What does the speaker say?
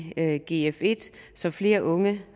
gf1 så flere unge